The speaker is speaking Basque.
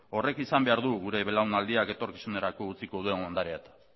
horrek izan behar du gure belaunaldiak etorkizunerako utziko duen ondarea eta